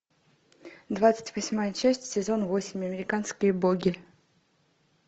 двадцать восьмая часть сезон восемь американские боги